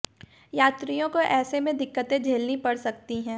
यात्रियों को ऐसे में दिक्कतें झेलनी पड़ सकती हैं